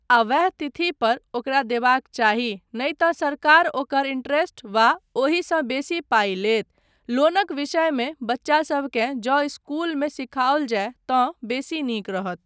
आ वैह तिथि पर ओकरा देबाक चाही नहि तँ सरकार ओकर इन्टरेस्ट वा ओहिसँ बेसी पाइ लैत, लोनक विषयमे बच्चासबकेँ जँ इस्कूलमे सीखाओल जाय तँ बेसी नीक रहत।